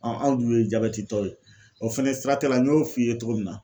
anw dun ye jabɛtitɔ ye o fɛnɛ siratigɛ la n y'o f'i ye cogo min na.